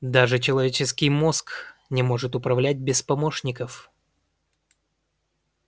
даже человеческий мозг не может управлять без помощников